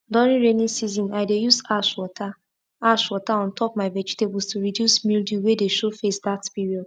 during rainy season i dey use ash water ash water on top my vegetables to reduce mildew wey dey show face that period